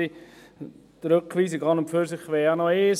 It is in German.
Die Rückweisung an und für sich wäre ja noch das eine.